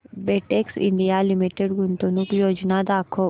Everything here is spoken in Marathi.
बेटेक्स इंडिया लिमिटेड गुंतवणूक योजना दाखव